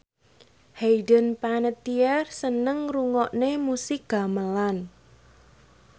Hayden Panettiere seneng ngrungokne musik gamelan